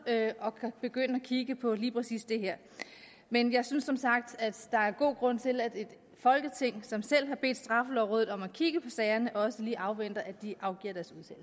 og kan begynde at kigge på lige præcis det her men jeg synes som sagt at der er god grund til at et folketing som selv har bedt straffelovrådet om at kigge på sagerne også lige afventer at de afgiver